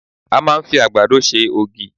A máa ń fi àgbàdo ṣe ògì.